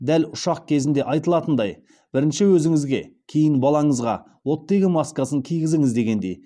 дәл ұшақ кезінде айтылатындай бірінші өзіңізге кейін балаңызға оттегі маскасын кигізіңіз дегендей